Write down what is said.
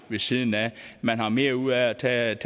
ved siden af man har mere ud af at tage